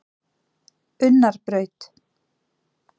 Unnarbraut